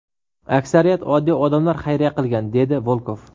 Aksariyat oddiy odamlar xayriya qilgan”, – dedi Volkov.